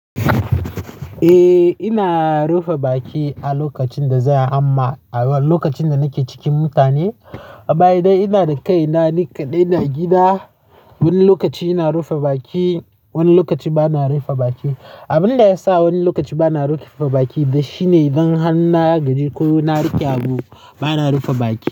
Eh ina rufe baki a lokacin da za a hamma, a lokacin da nake cikin mutane. A baya dai ina da kaina nika dai ina gida. Wani lokaci ina rufe baki, wani lokaci bana rufe baki. Abin da ya sa wani lokaci bana rufe baki dai shine idan har na gaji ko na riƙe abu bana rufe baki.